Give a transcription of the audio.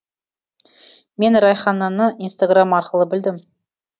мен райхананы инстаграм арқылы білдім